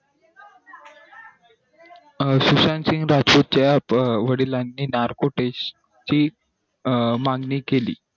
अं ने सुशांत सिघ राजपूत या वडिलांनी नार्कोटेक्स ची मागणी केली